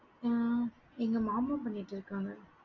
ஆஹ் எங்க மாமா பண்ணிட்டு இருக்காங்க